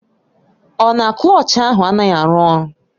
Ọ na Klọch ahụ anaghị arụ ọrụ?